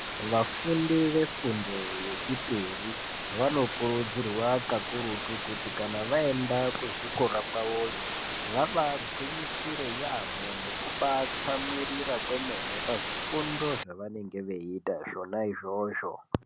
Vafundi vefundo yechipiri vanokurudzirwa kakurutu kuti kana vaenda kuzvikora kwavoyo vabagwinyisire yambo nekubatsamwirira kwemene pazvifundo zvavanenge veiita zvona izvozvo.